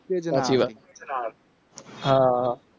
સાચી વાત હા